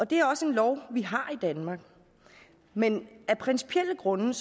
det er også noget vi har i danmark men af principielle grunde